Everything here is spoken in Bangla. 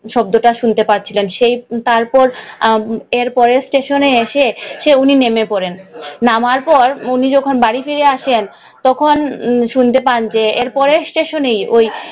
শব্দটা শুনতে পাচ্ছিলেন। সেই তারপর এর পরের ষ্টেশনে এসে উনি নেমে পড়েন। নামার পড় উনি যখন বাড়ি ফিরে আসেন, তখন শুনতে পান যে এর পরের ষ্টেশনেই,